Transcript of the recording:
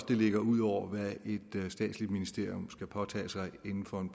det ligger ud over hvad et statsligt ministerium skal påtage sig inden for en